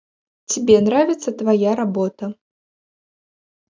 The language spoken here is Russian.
тебе нравится твоя работа